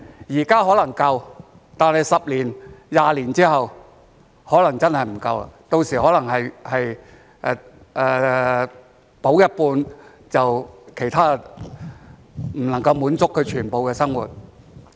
現在可能足夠，但是十多二十年之後可能真的不夠，到時可能是補助一半，其他便不能夠滿足全部的生活。